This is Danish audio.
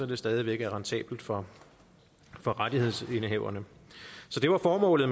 det stadig væk er rentabelt for for rettighedsindehaverne der var formålet